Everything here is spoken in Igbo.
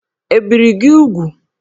Ebìri gị úgwù?